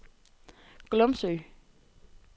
Glumsø